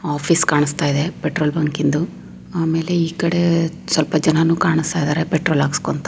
Office ಕಾಣಸ್ತಾಯಿದೆ petrol ಬಂಕಿಂದು ಆಮೇಲೆ ಈ ಕಡೆ ಸ್ವಲ್ಪ ಜನನು ಕಾಣುಸ್ತಾಯಿದ್ದಾರೆ ಪೆಟ್ರೋಲ್ ಆಕುಸ್ಕೊಂತ.